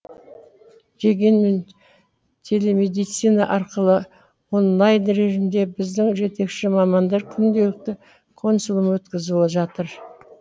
дегенмен телемедицина арқылы онлайн режимде біздің жетекші мамандар күнделікті консулум өткізіп жатыр